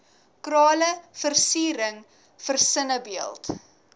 krale versiering versinnebeeld